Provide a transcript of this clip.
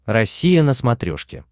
россия на смотрешке